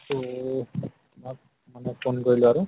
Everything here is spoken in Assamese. ত তোমাক মানে phone কৰিলো আৰু